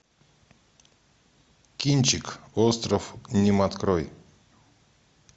кинчик остров ним открой